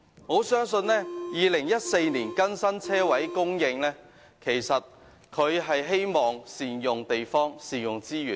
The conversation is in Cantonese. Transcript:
我相信當局在2014年就泊車位供應更新《規劃標準》，是旨在善用地方和資源。